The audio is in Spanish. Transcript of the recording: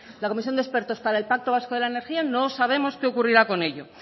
la comisión de expertos para el pacto vasco de la energía no sabemos qué ocurrirá con ello